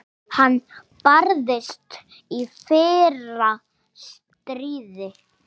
Hann barðist í fyrra stríði.